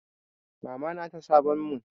Mamana ta sabon mun.